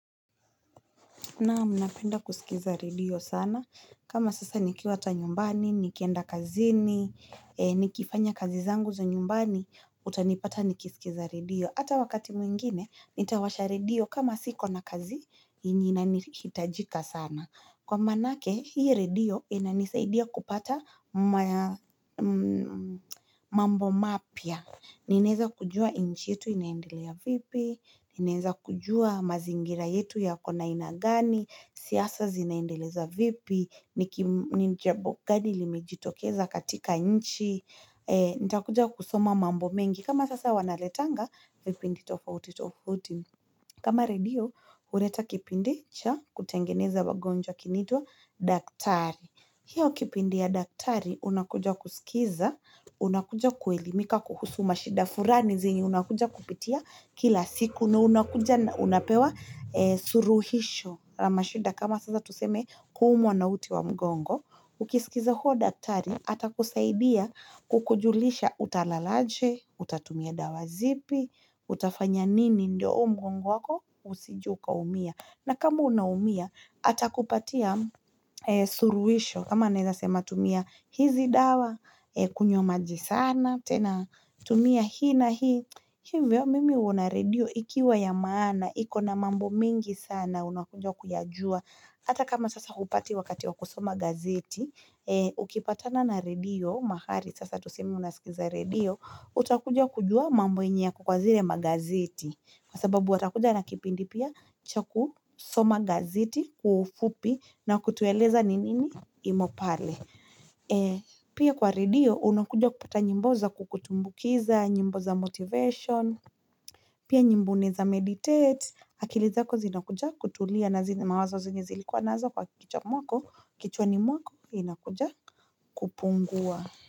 Naam napenda kusikiza redio sana, kama sasa nikiwa ata nyumbani, nikienda kazini, nikifanya kazi zangu za nyumbani, utanipata nikisikiza redio. Ata wakati mwingine, nitawasha redio kama siko na kazi, yenye inanihitajika sana. Kwa manake, hio redio inanisaidia kupata mambo mapya. Ninaeza kujua inchi yetu inaendelea vipi, ninaeza kujua mazingira yetu yako na ina gani, siasa zinaendeleza vipi, ni njabu gani limejitokeza katika inchi, nitakuja kusoma mambo mengi. Kama sasa wanaletanga, vipindi tofauti tofauti. Kama redio, ureta kipindi cha kutengeneza wagonjwa kinaitwa daktari. Hiyo kipindi ya daktari, unakuja kusikiza, unakuja kuelimika kuhusu mashida furani zenye, unakuja kupitia kila siku, na unakuja na unapewa suruhisho la mashida kama sasa tuseme kuumwa na uti wa mgongo. Ukisikiza huo daktari atakusaidia kukujulisha utalalaje, utatumia dawa zipi, utafanya nini ndio huu mgongo wako usije ukaumia. Na kama unaumia atakupatia suruisho. Kama anaeza sema tumia hizi dawa kunywa maji sana, tena tumia hii na hii. Hivyo mimi uona redio ikiwa ya maana, iko na mambo mingi sana, unakuja kuyajua. Ata kama sasa hupati wakati wa kusoma gazeti, ukipatana na redio, mahari, sasa tuseme unasikiza redio, utakuja kujua mambo yenye yako kwa zile magazeti kwa sababu watakuja na kipindi pia cha kusoma gazeti kwa ufupi na kutueleza ni nini imo pale pia kwa redio unakuja kupata nyimbo za kukutumbukiza nyimbo za motivation pia nyimbo unaeza meditate akili zako zinakuja kutulia na zile mawazo zenye zilikuwa nazo kwa kichwani mwako, inakuja kupungua.